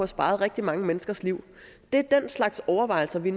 sparet rigtig mange menneskers liv det er den slags overvejelser vi